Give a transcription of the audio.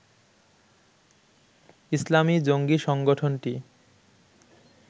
ইসলামি জঙ্গি সংগঠনটি